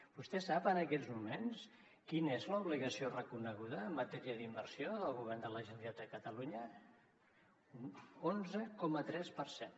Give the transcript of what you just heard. vostè sap en aquests moments quina és l’obligació reconeguda en matèria d’inversió del govern de la generalitat de catalunya un onze coma tres per cent